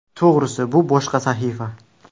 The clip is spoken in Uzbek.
To‘g‘risi, bu boshqa sahifa.